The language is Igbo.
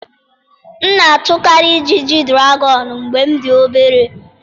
M na-achụkarị ijiji dragọn mgbe m dị obere.